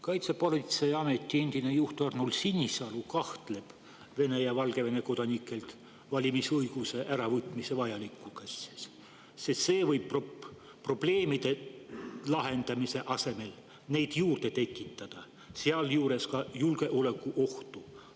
Kaitsepolitseiameti endine juht Arnold Sinisalu kahtleb Vene ja Valgevene kodanikelt valimisõiguse äravõtmise vajalikkuses, sest see võib probleemide lahendamise asemel neid juurde tekitada, sealjuures ka julgeolekuohtu.